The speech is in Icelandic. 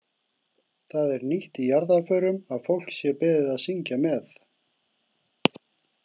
Það er nýtt í jarðarförum að fólk sé beðið að syngja með.